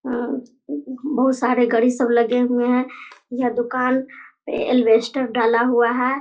अ बहुत सारे घड़ी सब लगे हुए हैं ये दुकान एल्वेस्टर डाला हुआ है।